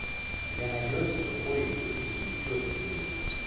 у тебя найдется тупой и еще тупее